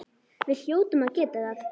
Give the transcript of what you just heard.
Við hljótum að geta það.